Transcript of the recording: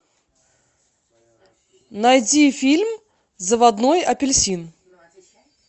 найди фильм заводной апельсин